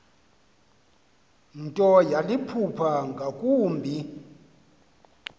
nto yaliphupha ngakumbi